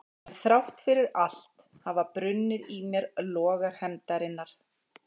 En þrátt fyrir allt hafa brunnið í mér logar hefndarinnar.